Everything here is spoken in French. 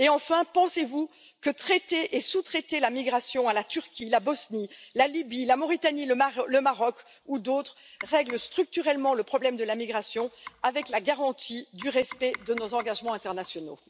Et enfin, pensez vous que traiter et sous traiter la migration à la Turquie, la Bosnie, la Libye, la Mauritanie, le Maroc ou à d'autres règle structurellement le problème de la migration, avec la garantie du respect de nos engagements internationaux?